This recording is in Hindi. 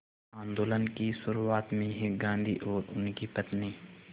आंदोलन की शुरुआत में ही गांधी और उनकी पत्नी